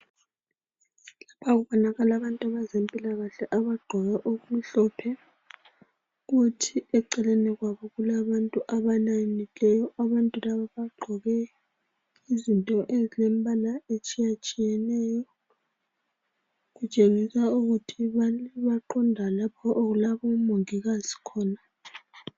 Kubonakala abezempilakahle abagqoke okumhlophe, kuthi eceleni kwabo kulabantu abalayinileyo. Abantu laba bagqoke izinto ezilembala etshiyatshiyeneyo okutshengisa ukuthi baqonda lapho okulabomongikazi khona.